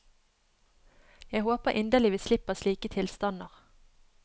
Jeg håper inderlig vi slipper slike tilstander.